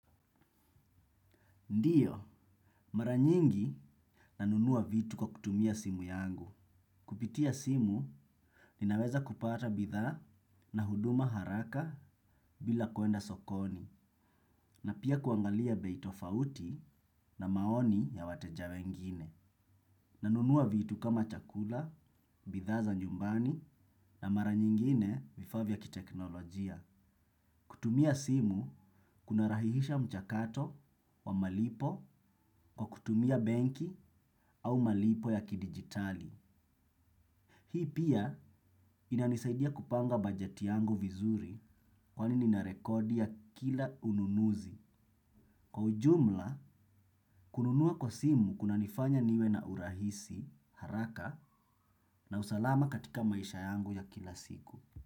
Ndiyo, mara nyingi nanunua vitu kwa kutumia simu yangu. Kupitia simu, ninaweza kupata bidhaa na huduma haraka bila kuenda sokoni, na pia kuangalia bei tofauti na maoni ya wateja wengine. Nanunua vitu kama chakula, bidhaa za nyumbani na mara nyingine vifaa vya kiteknolojia. Kutumia simu kunarahihisha mchakato wa malipo kwa kutumia benki au malipo ya kidigitali. Hii pia inanisaidia kupanga bajeti yangu vizuri kwani nina rekodi ya kila ununuzi. Kwa ujumla, kununua kwa simu kunanifanya niwe na urahisi, haraka na usalama katika maisha yangu ya kila siku.